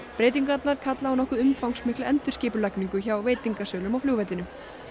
breytingarnar kalla á nokkuð umfangsmikla endurskipulagningu hjá veitingasölum á flugvellinum